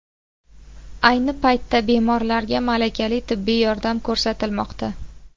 Ayni paytda bemorlarga malakali tibbiy yordam ko‘rsatilmoqda.